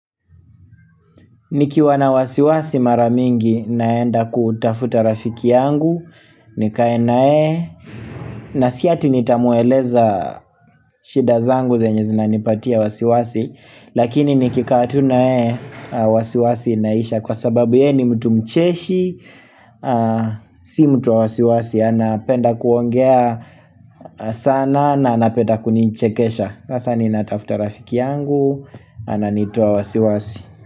Nikiwa na wasiwasi maramingi naenda kutafuta rafiki yangu, nikae na yeye na siati nitamueleza shida zangu zenye zina nipatia wasiwasi, lakini nikikaa tu nayey e wasiwasi naisha kwa sababu ye ni mtu mcheshi, si mtu wa wasiwasi, anapenda kuongea sana na anapenda kunichekesha. Hasa ninatafuta rafiki yangu, ananitoa wasiwasi.